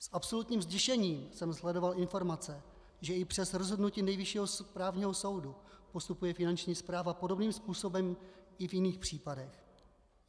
S absolutním zděšením jsem sledoval informace, že i přes rozhodnutí Nejvyššího správního soudu postupuje finanční správa podobným způsobem i v jiných případech.